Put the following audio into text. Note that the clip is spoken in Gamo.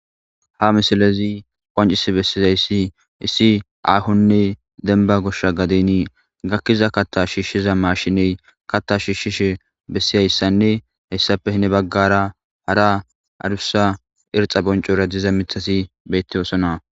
Ha misilezi qoncisi bessizaysi issi aahonne demba goshsha gadeni gakiza kaththa shishiza mashiney katta shishishe besizaysanne hessappe heni bagara hara adusa erxa boncora diza miththati betosona.